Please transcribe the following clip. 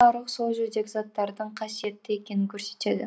бұл жарық сол жердегі заттардың қасиетті екенін көрсетеді